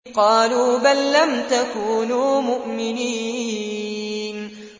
قَالُوا بَل لَّمْ تَكُونُوا مُؤْمِنِينَ